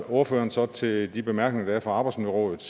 ordføreren så til de bemærkninger der er fra arbejdsmiljørådet